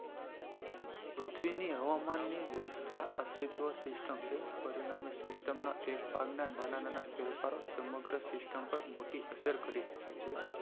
પૃથ્વી ની હવામાન ની વ્યવશ્થા system છે પરિણામે system ના ના ના ભાગના ફેરફાર સમગ્ર system પર મોટી અસર કરી શકે છે